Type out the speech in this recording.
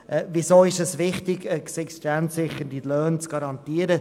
Weshalb ist es wichtig, existenzsichernde Löhne zu garantieren?